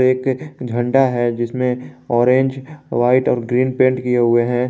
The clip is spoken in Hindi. एक झंडा है जिसमें ऑरेंज वाइट और ग्रीन पेंट किए हुए हैं।